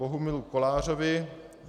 Bohumilu Kolářovi